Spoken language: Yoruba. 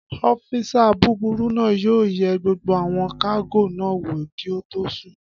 Ọ́físà búburú náà yóò yẹ gbogbo àwọn kágò náà wò kí ó tó sùn